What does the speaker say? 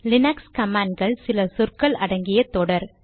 Linux command கள் சில சொற்கள் அடங்கிய தொடர்